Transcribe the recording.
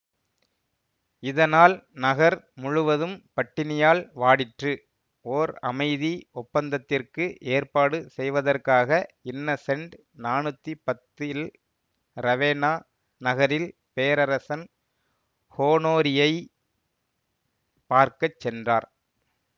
இதனால் நகர் முழுவதும் பட்டினியால் வாடிற்று ஓர் அமைதி ஒப்பந்தத்திற்கு ஏற்பாடு செய்வதற்காக இன்னசெண்ட் நானூத்தி பத்தில் ரவேன்னா நகரில் பேரரசன் ஹோனோரியை பார்க்க சென்றார்